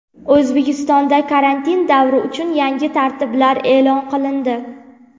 O‘zbekistonda karantin davri uchun yangi tartiblar e’lon qilindi.